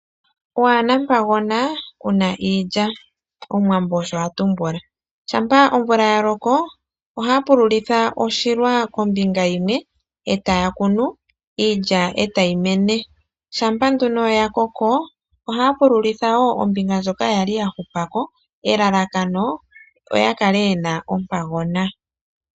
Waa na mpagona ku na iilya! Omuwambo osho ha tumbula. Shampa omvula ya loko ohaa pululitha oshilwa kombinga yimwe e taya kunu, iilya e tayi mene. Shampa nduno ya koko ohaya pululitha wo ombinga ndjoka ya li ya hupa ko, elalakano oya kale ye na ompagona.